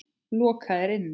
Lokaðir inni?